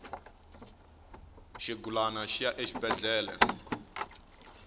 xigulana xi ya exibedhlele